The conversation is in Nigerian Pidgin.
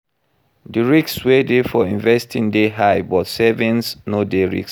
Di risk wey de for investing de high but savings no de risky